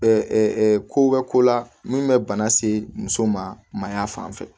ko bɛ ko la min bɛ bana se muso ma a fan fɛ